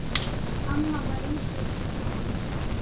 Amma var einstök kona.